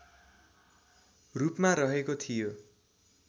रूपमा रहेको थियो